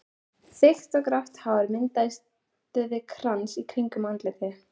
Þykkt grátt hár myndaði krans í kringum andlitið.